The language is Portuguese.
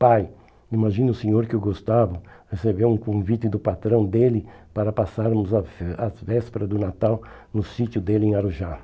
Pai, imagine o senhor que o Gustavo recebeu um convite do patrão dele para passarmos as as vésperas do Natal no sítio dele em Arujá.